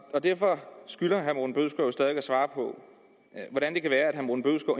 og derfor skylder herre at svare på